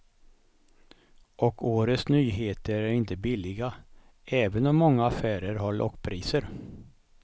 Och årets nyheter är inte billiga, även om många affärer har lockpriser.